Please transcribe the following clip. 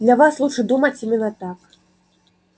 для вас лучше думать именно так